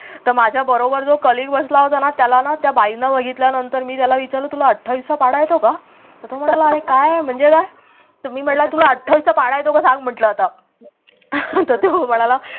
तर माझ्या बरोबर जो colleague बसला होता ना त्याला ना त्या बाईंना बघितल्यानंतर मी त्याला विचारलं तुला अठ्ठावीसचा पाढा येतो का तर तो म्हणाला काय आहे म्हणजे काय तर मी म्हटलं तुला अठ्ठावीसचा पाढा येतो का सांग म्हटलं आता तर तो म्हणाला